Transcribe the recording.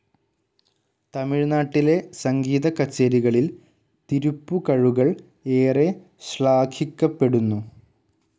തമിഴ്‌നാട്ടിലെ സംഗീതക്കച്ചേരികളിൽ തിരുപ്പുകഴുകൾ ഏറെ ശ്ലാഖിക്കപ്പെടുന്നു.